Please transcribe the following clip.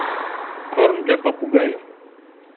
корм для попугаев